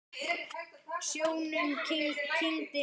Snjónum kyngdi niður.